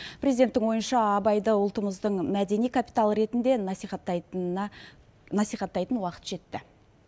президенттің ойынша абайды ұлтымыздың мәдени капиталы ретінде насихаттайтынына насихаттайтын уақыт жетті